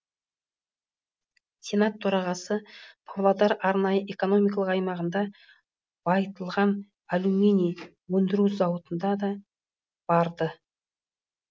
сенат төрағасы павлодар арнайы экономикалық аймағында байытылған алюминий өндіру зауытына да барды